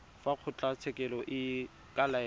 fa kgotlatshekelo e ka laela